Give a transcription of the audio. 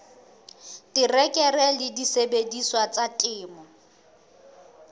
terekere le disebediswa tsa temo